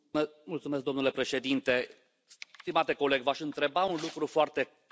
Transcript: Domnule președinte, stimate coleg, v aș întreba un lucru foarte clar.